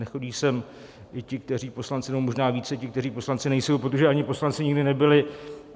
Nechodí sem i ti, kteří poslanci - nebo možná více ti - kteří poslanci nejsou, protože ani poslanci nikdy nebyli.